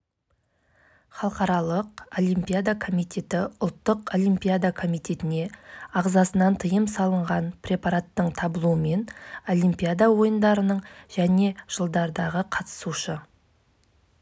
бұл шара ауаға парниктік газды шығару көлемін азайту үшін жүзеге асырғалы отырған соңғы қадам сондықтан электр